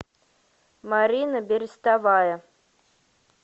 марина берестовая